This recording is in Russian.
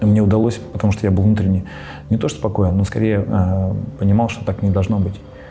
не удалось потому что я внутренне мне тоже спокойно но скорее понимал что так не должно быть